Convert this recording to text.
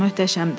Möhtəşəmdir.